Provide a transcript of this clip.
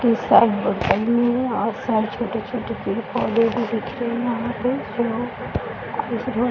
के और सारे छोटे-छोटे पेड़-पौधे भी दिख रहे हैं यहाँ पे --